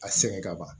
A sɛgɛn kaban